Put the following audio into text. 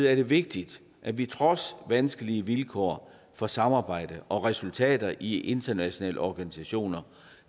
er det vigtigt at vi trods vanskelige vilkår for samarbejde og resultater i internationale organisationer